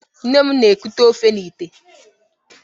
Nne m na-ekute ofe n'ìtè.